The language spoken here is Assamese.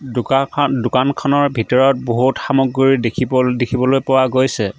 দোকানখন দোকানখনৰ ভিতৰত বহুত সামগ্ৰী দেখিব দেখিবলৈ পোৱা গৈছে।